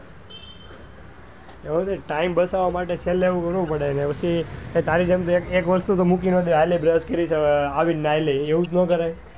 એવું ની time બચાવવા માટે છેલ્લે એવું પડે ને પછી તારી જેમ એક વસ્તુ તો મૂકી નાં દેવાય આં લે brush કરી ને આવી ને નાઈ લઈશ.